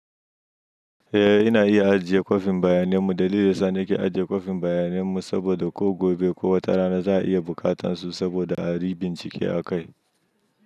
Eh, ina iya ajiye kwafin bayanemmu. Dalilin sa nike ajiye kwafin bayanemmu, saboda ko gobe ko wata rana za'a iya buƙatansu saboda ayi bincike a kai.